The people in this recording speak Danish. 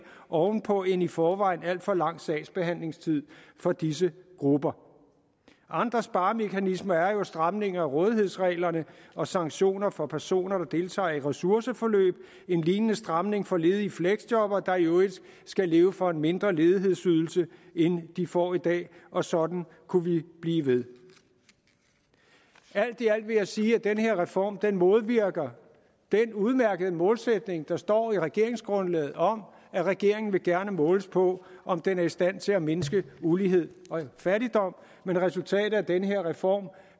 oven på en i forvejen alt for lang sagsbehandlingstid for disse grupper andre sparemekanismer er jo en stramning af rådighedsreglerne og sanktioner for personer der deltager i ressourceforløb en lignende stramning for ledige fleksjobbere der i øvrigt skal leve for en mindre ledighedsydelse end de får i dag og sådan kunne vi blive ved alt i alt vil jeg sige at den her reform modvirker den udmærkede målsætning der står i regeringsgrundlaget om at regeringen gerne vil måles på om den er i stand til at mindske ulighed og fattigdom men resultatet af den her reform